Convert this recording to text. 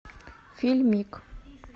фильмик